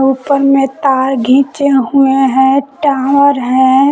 । ऊपर में तार घिंचे हुए हैं टावर हैं